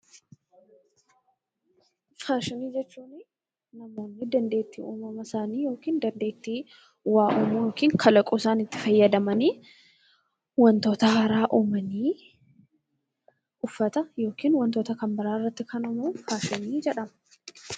Faashinii jechuun namoonni dandeettii yookiin kalaqa sammuu isaaniitti fayyadamanii wantoota haaraa uumanii uffata yookiin wantoota biraa irratti ta'an faashinii jedhama.